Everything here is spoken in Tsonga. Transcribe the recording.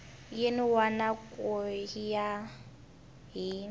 yin wana ku ya hi